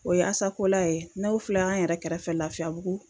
O ye asakola ye n'o filɛ an yɛrɛ kɛrɛfɛ lafiyabugu